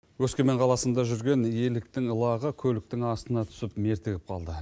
өскемен қаласында жүрген еліктің лағы көліктің астына түсіп мертігіп қалды